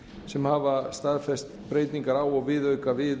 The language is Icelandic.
sem hafa staðfest breytingar á og viðauka við